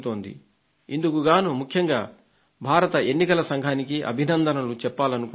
ఇందుకుగాను ముఖ్యంగా భారత దేశ ఎన్నికల సంఘానికి అభినందనలు చెప్పాలనుకుంటున్నాను